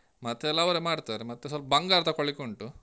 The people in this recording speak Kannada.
ಮತ್ತೆ ಎಲ್ಲಾ ಅವರೇ ಮಾಡ್ತಾರೆ. ಮತ್ತೆ ಸ್ವಲ್ಪ ಬಂಗಾರ ತೊಕೊಳ್ಲಿಕುಂಟು.